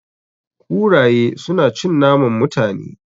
Kuraye su na cin naman Mutane